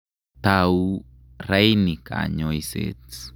Tau raini kanyoiset.